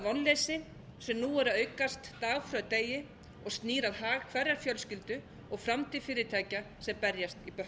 vonleysi sem nú er að aukast dag frá degi og snýr að hag hverrar fjölskyldu og framtíð fyrirtækja sem berjast í